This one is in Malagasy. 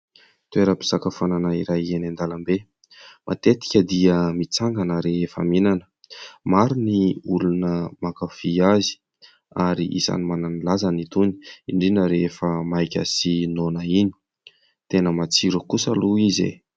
Toeram-pisakafoanana iray eny an-dalambe. Matetika dia mitsangana rehefa mihinana, maro ny olona mankafy azy ary isan'ny manana ny lazany itony indrindra rehefa maika sy noana iny. Tena matsiro kosa aloha izy e !